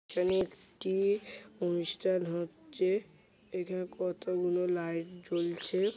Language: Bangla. এখানে একটি অনুষ্ঠান হচ্ছে এখানে কতগুলো লাইট জ্বলছে |